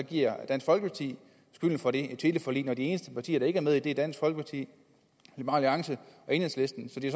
giver dansk folkeparti skylden for det teleforlig når de eneste partier der ikke er med i det er dansk folkeparti liberal alliance og enhedslisten så det